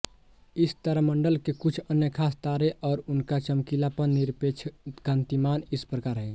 इस तारामंडल के कुछ अन्य ख़ास तारे और उनका चमकीलापन निरपेक्ष कान्तिमान इस प्रकार हैं